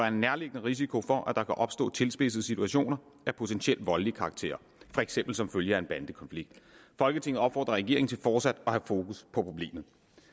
en nærliggende risiko for at der kan opstå tilspidsede situationer af potentiel voldelig karakter for eksempel som følge af en bandekonflikt folketinget opfordrer regeringen til fortsat at have fokus på problemet